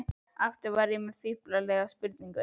Aftur var ég með fíflalega spurningu.